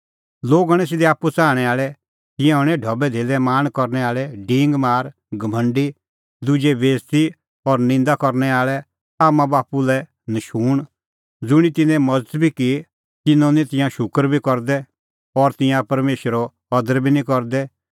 लोग हणैं सिधै आप्पू च़ाहणैं आल़ै तिंयां हणैं ढबैधेल्ले लाल़च़ी डींगमार घमंडी दुजे बेइज़ती और निंदा करनै आल़ै आम्मांबाप्पू लै नशूंण ज़ुंणी तिन्नें मज़त की तिन्नों निं तिंयां शूकर बी करदै और तिंयां परमेशरो अदर बी निं करदै